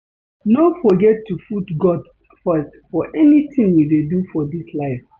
No forget to put God first for anything you dey do for dis life